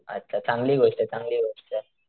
अच्छा चांगली गोष्टय चांगली गोष्टय.